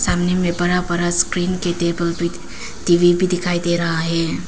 सामने में बड़ा बड़ा स्क्रीन की टेबल भी टी_वी भी दिखाई दे रहा है।